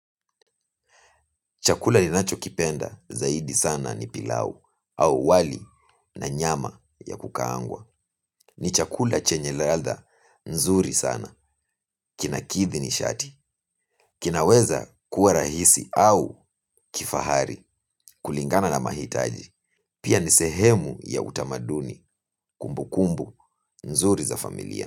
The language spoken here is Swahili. Chakula ninacho kipenda zaidi sana ni pilau au wali na nyama ya kukaangwa. Ni chakula chenye ladha nzuri sana kinakithi nishati. Kinaweza kuwa rahisi au kifahari kulingana na mahitaji. Pia ni sehemu ya utamaduni kumbu kumbu nzuri za familia.